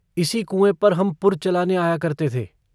इसी कुएँ पर हम पुर चलाने आया करते थे।